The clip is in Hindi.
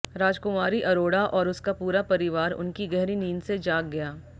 राजकुमारी अरोड़ा और उसका पूरा परिवार उनकी गहरी नींद से जाग गया